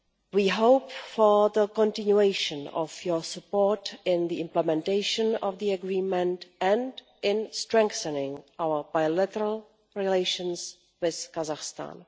We hope for the continuation of your support in the implementation of the Agreement and in strengthening our bilateral relations with Kazakhstan.